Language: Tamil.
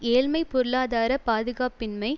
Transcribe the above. ஏழ்மை பொருளாதார பாதுகாப்பின்மை